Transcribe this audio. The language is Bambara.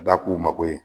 Ka da k'u mako ye